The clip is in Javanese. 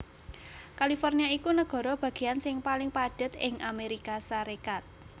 California iku nagara bagéyan sing paling padhet ing Amérika Sarékat